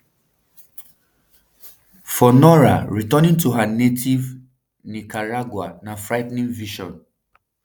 for nora returning to her native nicaragua na frigh ten ing vision